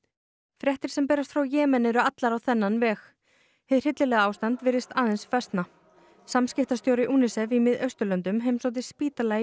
fréttir sem berast frá Jemen eru allar á þennan veg hið hryllilega ástand virðist aðeins versna samskiptastjóri UNICEF í Mið Austurlöndum heimsótti spítala í